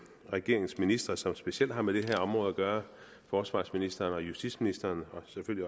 regeringens ministre som specielt har med det her område at gøre forsvarsministeren og justitsministeren